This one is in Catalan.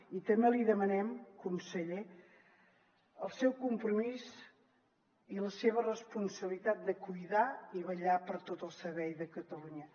i també li demanem conseller el seu compromís i la seva responsabilitat de cuidar i vetllar per tot el servei de catalunya